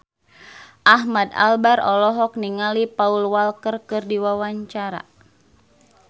Ahmad Albar olohok ningali Paul Walker keur diwawancara